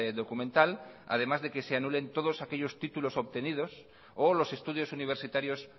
documental además de que se anulen todos aquellos títulos obtenidos o los estudios universitarios